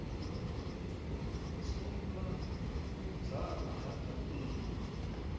suma u dzama ha dyambeu